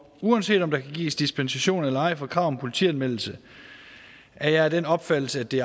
uanset om der kan gives dispensation eller ej for krav om politianmeldelse er jeg af den opfattelse at det